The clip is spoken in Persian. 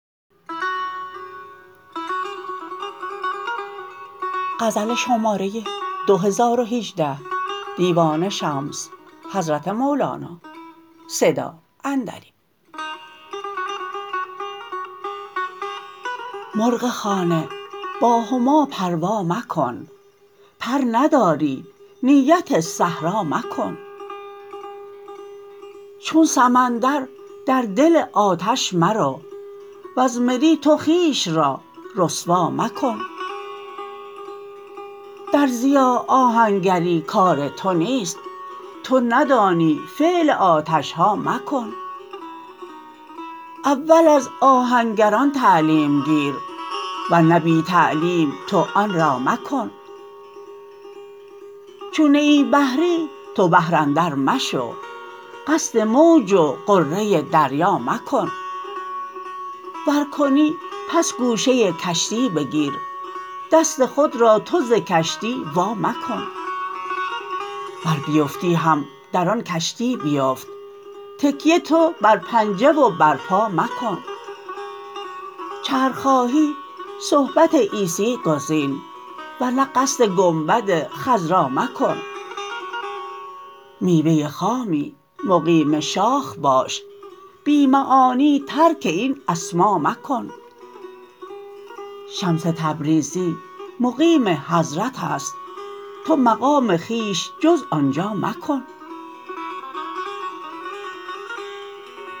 مرغ خانه با هما پروا مکن پر نداری نیت صحرا مکن چون سمندر در دل آتش مرو وز مری تو خویش را رسوا مکن درزیا آهنگری کار تو نیست تو ندانی فعل آتش ها مکن اول از آهنگران تعلیم گیر ور نه بی تعلیم تو آن را مکن چون نه ای بحری به بحر اندر مشو قصد موج و غره دریا مکن ور کنی پس گوشه کشتی بگیر دست خود را تو ز کشتی وا مکن گر بیفتی هم در آن کشتی بیفت تکیه تو بر پنجه و بر پا مکن چرخ خواهی صحبت عیسی گزین ور نه قصد گنبد خضرا مکن میوه خامی مقیم شاخ باش بی معانی ترک این اسما مکن شمس تبریزی مقیم حضرت است تو مقام خویش جز آن جا مکن